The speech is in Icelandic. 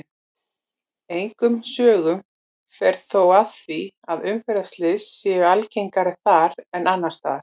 Engum sögum fer þó af því að umferðarslys séu algengari þar en annars staðar.